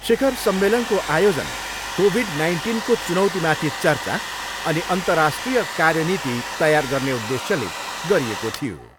शिखर सम्मेलनको आयोजन कोभिड नाइन्टिनको चुनौतीमाथि चर्चा अनि अन्तर्राष्ट्रिय कार्यनीति तयार गर्ने उद्देश्यले गरिएको थियो।